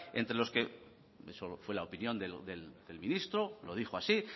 esa fue la opinión del ministro lo dijo así